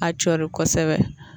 A cɔri kosɛbɛ